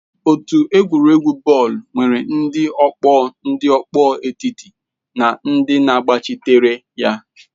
Otu egwuregwu bọọlụ nwere ndị ọkpọ, ndị ọkpọ etiti na ndị na-agbachitere ya.